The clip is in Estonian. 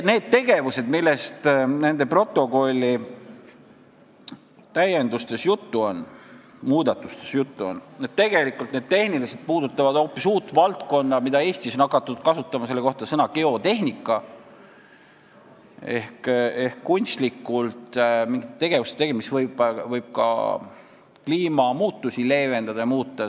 Need tegevused, millest protokolli täiendustes ja muudatustes juttu on, puudutavad tegelikult tehniliselt hoopis uut valdkonda, mille kohta Eestis on hakatud kasutama sõna "geotehnika" ehk kunstlikult mingit tegevust või tegu, mis võib ka kliimamuutusi leevendada ja muuta.